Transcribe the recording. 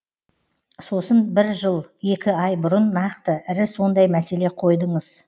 сосын бір жыл екі ай бұрын нақты ірі сондай мәселе қойдыңыз